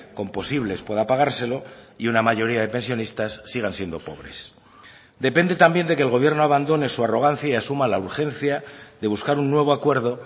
con posibles pueda pagárselo y una mayoría de pensionistas sigan siendo pobres depende también de que el gobierno abandone su arrogancia y asuma la urgencia de buscar un nuevo acuerdo